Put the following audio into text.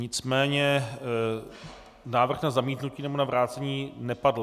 Nicméně návrh na zamítnutí nebo na vrácení nepadl.